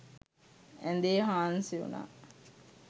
ඇඳේ හාන්සි වුණා.